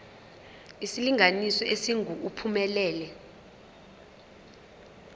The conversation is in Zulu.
isilinganiso esingu uphumelele